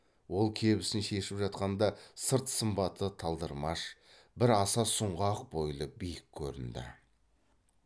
ол кебісін шешіп жатқанда сырт сымбаты талдырмаш бірақ аса сұңғақ бойлы биік көрінді